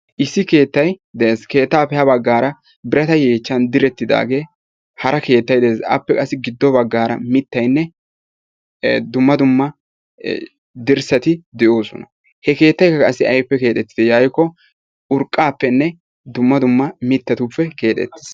Issi keettay de'ees. Keettaappe ha baggaara birata yeechchan direttidaagee hara keettay de'ees. Appe qassi giddo baggaara mittaynne dumma dumma dirssati de'oosona. He keettaykka qassi aybippe keexettide yaagikko urqqaappenne dumma dumma mittatuppe keexettiis.